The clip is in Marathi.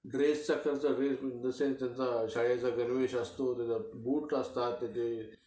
ड्रेसचा खर्च, त्यांच्या शाळेचा गणवेश असतो, त्याचे बूट्स असतात.